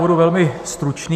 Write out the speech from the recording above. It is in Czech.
Budu velmi stručný.